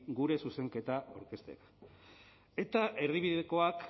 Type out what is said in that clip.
gure zuzenketa aurkeztea eta erdibidekoak